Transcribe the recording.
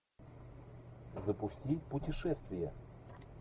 запусти путешествия